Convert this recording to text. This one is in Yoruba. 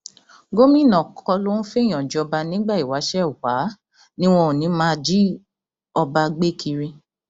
gomina kọ ló ń fẹẹyàn jọba nígbà ìwáṣẹ ẹ wàá ni wọn ò ní í máa jí ọba gbé kiri